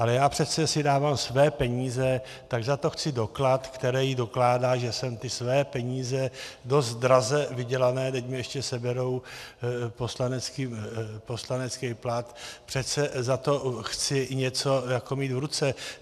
Ale já si přece dávám své peníze, tak za to chci doklad, který dokládá, že jsem ty své peníze, dost draze vydělané, teď mi ještě seberou poslanecký plat, přece za to chci něco mít v ruce.